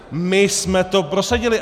My jsme to prosadili!